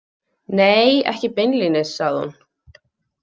Nei, ekki beinlínis, sagði hún.